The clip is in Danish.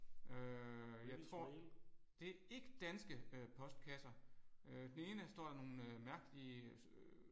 Øh jeg tror det er ikke danske øh postkasser. Øh den ene står der nogle mærkelige